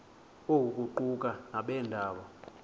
oku kuquka nabeendaba